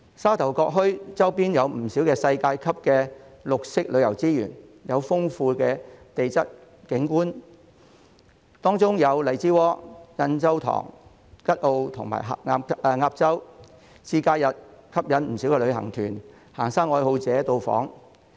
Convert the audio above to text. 沙頭角墟周邊有不少世界級的綠色旅遊資源，有豐富的地質景觀，當中有荔枝窩、印洲塘、吉澳和鴨洲，節假日吸引不少旅行團、行山愛好者到訪。